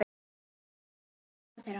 Þar sló hjarta þeirra.